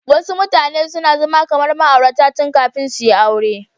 Wasu mutane suna zama kamar ma'aurata tun kafin suyi aure.